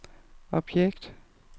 objekt